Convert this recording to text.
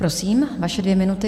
Prosím, vaše dvě minuty.